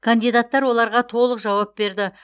кандидаттар оларға толық жауап берді